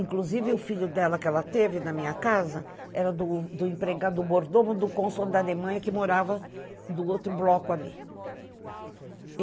Inclusive, o filho dela, que ela teve na minha casa, era do do empregado, do mordomo, do cônsul da Alemanha, que morava no outro bloco ali.